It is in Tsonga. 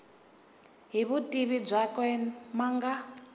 hi vutivi byakwe ma nga